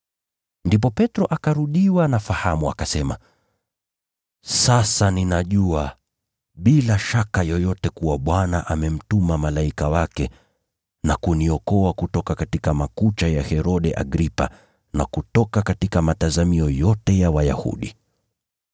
Ndipo Petro akarudiwa na fahamu, akasema, “Sasa ninajua bila shaka yoyote kuwa Bwana amemtuma malaika wake na kuniokoa kutoka makucha ya Herode Agripa na kutoka matazamio yote ya Wayahudi.”